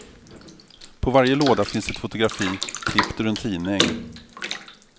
På varje låda finns ett fotografi klippt ur en tidning.